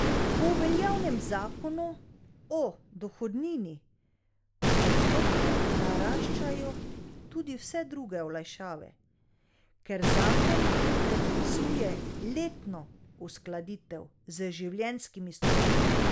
Po veljavnem zakonu o dohodnini postopno naraščajo tudi vse druge olajšave, ker zakon predpisuje letno uskladitev z življenjskimi stroški.